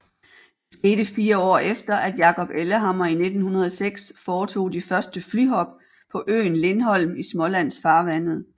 Det skete fire år efter at Jacob Ellehammer i 1906 foretog de første flyhop på øen Lindholm i Smålandsfarvandet